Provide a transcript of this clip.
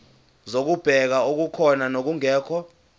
zokubheka okukhona nokungekho